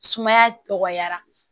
Sumaya tɔgɔyara